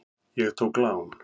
Ég tók lán.